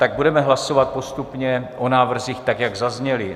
Tak budeme hlasovat postupně o návrzích tak, jak zazněly.